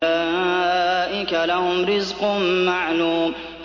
أُولَٰئِكَ لَهُمْ رِزْقٌ مَّعْلُومٌ